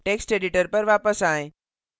text editor पर वापस आएँ